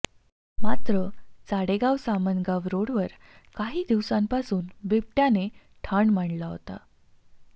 मात्र चाडेगाव सामनगावरोड काही दिवसांपासून बिबट्याने ठाण मांडला होता